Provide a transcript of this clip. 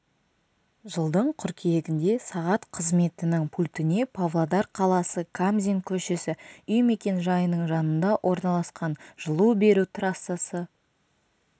жылдың қыркүйегінде сағат қызметінің пультіне павлодар қаласы камзин көшесі үй мекенжайының жанында орналасқан жылу беру трассасы